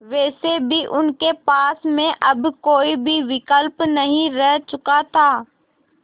वैसे भी उनके पास में अब कोई भी विकल्प नहीं रह चुका था